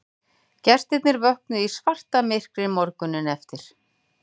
Gestirnir vöknuðu í svartamyrkri morguninn eftir